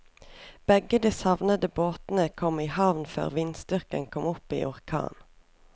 Begge de savnede båtene kom i havn før vindstyrken kom opp i orkan.